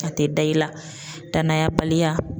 A tɛ da i la danaya baliya.